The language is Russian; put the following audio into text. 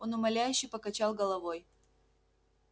он умоляюще покачал головой